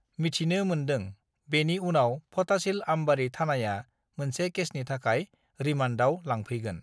मिथिनो मोनदों बेनि उनाव फटाशिल आमबारी थानाया मोनसे केसनि थाखाय रिमान्दआव लांफैगोन